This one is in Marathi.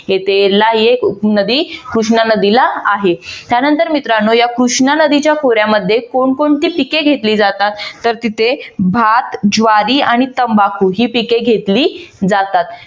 येथे एरला ही एक उपनदी कृष्णा नदीला आहे. त्यानंतर मित्रानो या कृष्णा नदीच्या खोऱ्यामध्ये कोण कोणती पिके घेतली जातात तर तिथे भात, ज्वारी आणि तंबाखू ही पिके घेतली जातात.